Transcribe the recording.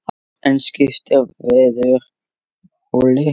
En skiptir veður máli?